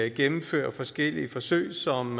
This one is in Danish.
gennemfører forskellige forsøg som